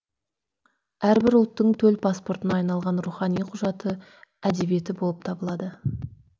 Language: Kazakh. әрбір ұлттың төл паспортына айналған рухани құжаты әдебиеті болып табылады